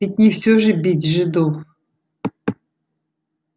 ведь не всё же бить жидов